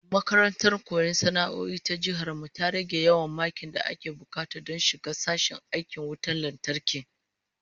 Makarantar koyon sana'o'i ta Jihar mu ta rage yawan makin da ake bukata don shiga sashen aikin wutan lantarki